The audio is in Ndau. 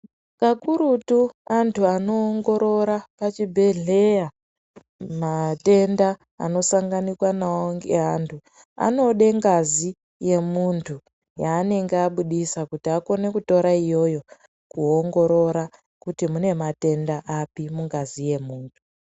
Kakurutu antu anoongorora pachibhedhleya matenda anosanganikwa navo ngeantu. Anode ngazi yemuntu yanenge abudisa kuti akone kutora iyoyo kuongorora kuti mune matenda api mungazi yemuntu.